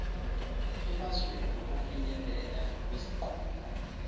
emzamweni wokufinyelela kwizinqumo